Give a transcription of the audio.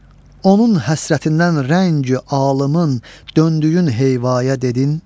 Onun həsrətindən rəngi alımın döndüyün heyvaya dedin?